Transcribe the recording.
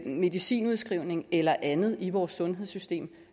medicinudskrivning eller andet i vores sundhedssystem